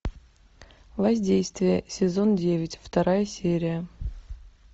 воздействие сезон девять вторая серия